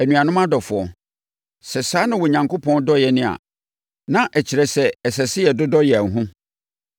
Anuanom adɔfoɔ, sɛ saa na Onyankopɔn dɔ yɛn a, na ɛkyerɛ sɛ, ɛsɛ sɛ yɛdodɔ yɛn ho.